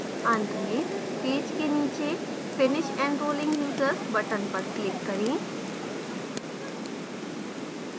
अंत में पेज के नीचे finish enrolling users button पर click करें